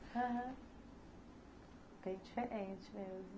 Aham, bem diferente mesmo.